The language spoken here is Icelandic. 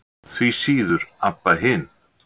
Því síður Abba hin.